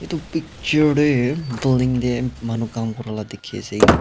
edu picture de building de manu kam kuri la dikhi ase.